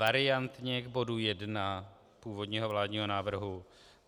Variantně k bodu 1 původního vládního návrhu.